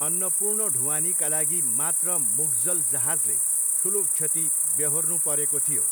अन्नपूर्ण ढुवानीका लागि मात्र मुग्जल जहाजले ठुलो क्षति व्यहोर्नु परेको थियो।